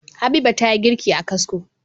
Habiba tayi girki a kasko